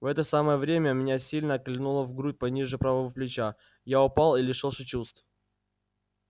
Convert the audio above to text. в это самое время меня сильно кольнуло в грудь пониже правого плеча я упал и лишился чувств